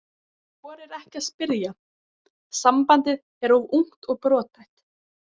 Þorir ekki að spyrja, sambandið er of ungt og brothætt.